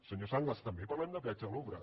senyor sanglas també parlem de peatge a l’ombra